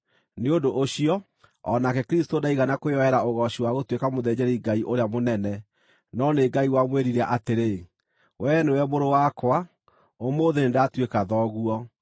Nĩ ũndũ ũcio, o nake Kristũ ndaigana kwĩyoera ũgooci wa gũtuĩka mũthĩnjĩri-Ngai ũrĩa mũnene. No nĩ Ngai wamwĩrire atĩrĩ, “Wee nĩwe Mũrũ wakwa; ũmũthĩ nĩndatuĩka Thoguo.”